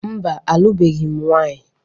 Mba, alụbeghị m nwanyị.